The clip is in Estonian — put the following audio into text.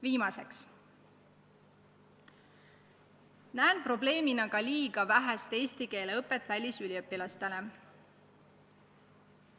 Viimase probleemina märgin liiga vähest eesti keele õpet välisüliõpilastele.